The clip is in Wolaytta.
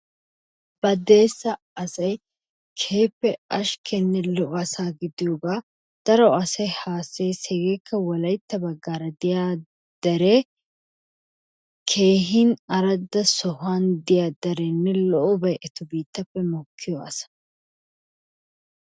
Badeessa asay keehippe ashkkenne lo''o asa gidiyooga daro asay haassayes. Hegekka wolaytta baggaara diya dere keehin arada sohuwandiya derenne lo''obay etappe mokkiyo asaa.